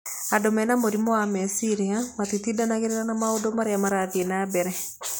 Andũ mena mũrimũ wa meciria matitindanagĩra na maũndũ marĩa marathiĩ na mbere.